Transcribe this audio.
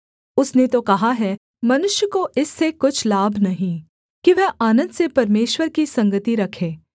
उसने तो कहा है मनुष्य को इससे कुछ लाभ नहीं कि वह आनन्द से परमेश्वर की संगति रखे